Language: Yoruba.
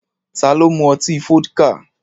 Ta ló mú ọtí Fọ́díkà?